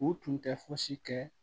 U tun tɛ fosi kɛ